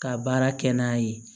Ka baara kɛ n'a ye